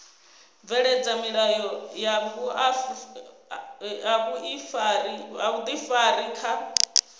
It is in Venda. bveledza milayo ya vhuifari kha